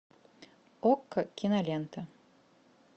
окко кинолента